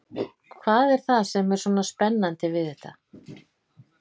Hvað er það sem er svona spennandi við þetta?